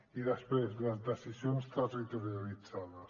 i després les decisions territorialitzades